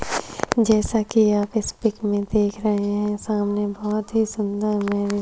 जैसा की आप इस पिक में देख रहे है सामने बहुत ही सुंदर मैरिज --